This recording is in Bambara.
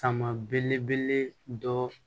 Sama belebele dɔ